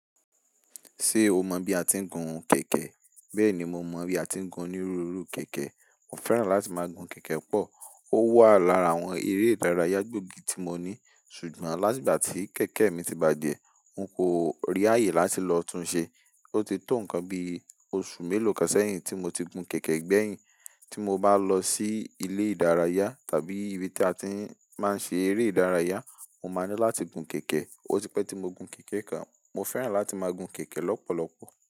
Ṣé o mọ bí a ti ń gun kẹ̀kẹ́? Bẹ́ẹ̀ ni, mo mọ bí a ti ń gun onírúurú kẹ̀kẹ́. Mo fẹ́ràn láti máa gun kẹ̀kẹ́ pọ̀. Ó wà lára àwọn eré ìdárayá gbóògì tí mo ní. Ṣùgbọ́n láti ìgbà tí kẹ̀kẹ́ mi ti bàjẹ́, n kò rí ààyè láti lọ tún un ṣe. Ó ti tó nǹkan bí oṣù mélòó kan sẹ́yìn tí mo ti gun kẹ̀kẹ́ gbẹ̀yìn. Tí mo bá lọ sí ilé ìdárayá tàbí ibi tí a ti máa ń ṣe eré ìdárayá, mo máa nílò láti gun kẹ̀kẹ́. Ó ti pẹ́ tí mo gun kẹ̀kẹ́ kan. Mo fẹ́ràn láti máa gun kẹ̀kẹ́ lọ́pọ̀lọpọ̀.